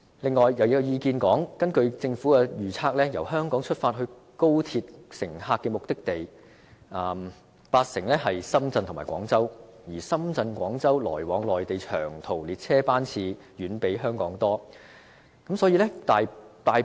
此外，亦有意見指出，根據政府預測，由香港出發的高鐵乘客，有八成的目的地是深圳和廣州，而深圳和廣州來往內地的長途列車，遠較香港來往內地的多。